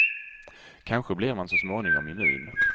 Kanske blir man så småningom immun.